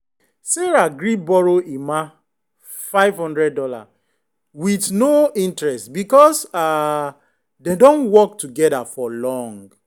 sarah gree borrow emma five hundred dollars with no interest because um dem don work together for long.